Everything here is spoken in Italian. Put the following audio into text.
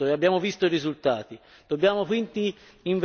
In passato si è fatto l'opposto e abbiamo visto i risultati.